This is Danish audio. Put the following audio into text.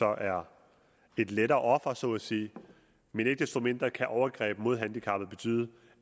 er et lettere offer så at sige men ikke desto mindre kan overgrebet mod handicappede betyde